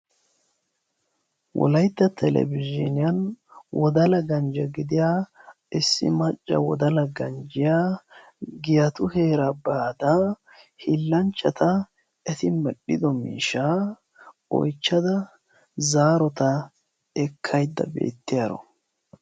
wolaytta telebizhiiniyan wodala ganje gidiya issi macca wodala ganjjiya giyatu heeraa baada hiillanchchata eti medhdhido miishshaabaa oyichchada zaarota ekkayidda beettiyaro.